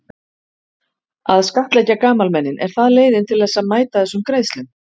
Að skattleggja gamalmennin, er það leiðin til þess að mæta þessum greiðslum?